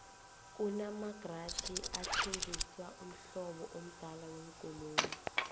kuna magaraji athengisa umhlobo amdala wekoloyi